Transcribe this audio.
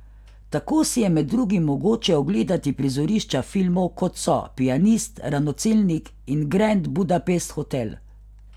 Tako si je med drugim mogoče ogledati prizorišča filmov, kot so Pianist, Ranocelnik in Grand Budapest hotel.